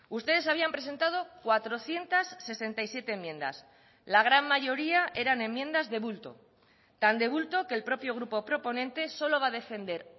ustedes habían presentado cuatrocientos sesenta y siete enmiendas la gran mayoría eran enmiendas de bulto tan de bulto que el propio grupo proponente solo va a defender